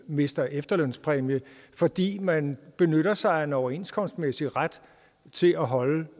mister efterlønspræmie fordi man benytter sig af en overenskomstmæssig ret til at holde